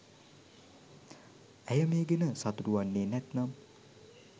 ඇය මේ ගැන සතුටු වන්නේ නැත්නම්